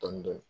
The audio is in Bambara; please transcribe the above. Dɔɔnin dɔɔnin